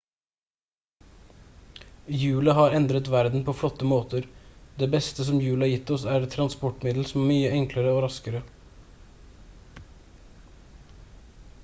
hjulet har endret verden på flotte måter det beste som hjulet har gitt oss er et transportmiddel som er mye enklere og raskere